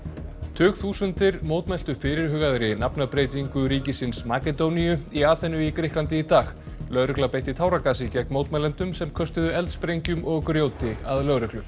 tugþúsundir mótmæltu fyrirhugaðri nafnabreytingu ríkisins Makedóníu í Aþenu í Grikklandi í dag lögregla beitti táragasi gegn mótmælendum sem köstuðu eldsprengjum og grjóti að lögreglu